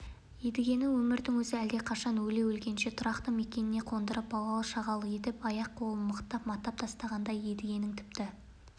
оу едігені өмірдің өзі әлдеқашан өле-өлгенше тұрақты мекеніне қондырып балалы шағалы етіп аяқ-қолын мықтап матап тастағанда едігенің тіпті